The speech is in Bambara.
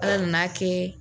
Ala nan'a kɛ